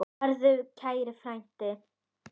Farðu í friði, kæri frændi.